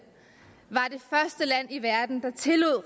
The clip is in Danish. i verden der tillod